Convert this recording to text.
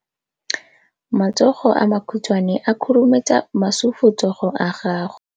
Matsogo a makhutshwane a khurumetsa masufutsogo a gago.